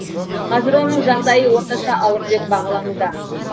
қазір оның жағдайы орташа ауыр деп бағалануда